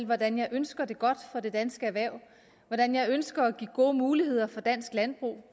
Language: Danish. hvordan jeg ønsker det godt for det danske erhverv hvordan jeg ønsker at give gode muligheder for dansk landbrug